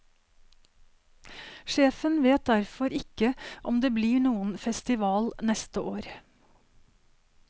Sjefen vet derfor ikke om det blir noen festival neste år.